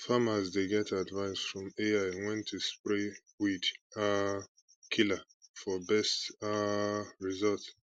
farmers dey get advice from ai when to spray weed um killer for best um result